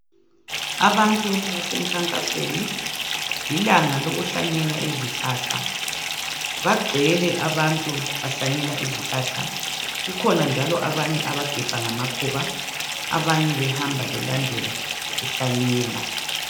Abantu basemkhankasweni lilanga lokuhlanyela izihlahla bagcwele abantu bahlanyela izihlahla kukhona njalo abanye abagebha ngamakhuba abanye behamba belandela behlanyela.